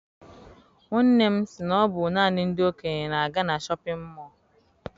Nwanne m si na ọ bụ naanị ndị okenye na-aga na shọpịn mọọ.